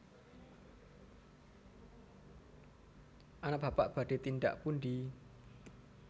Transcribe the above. anak Bapak badhe tindak pundi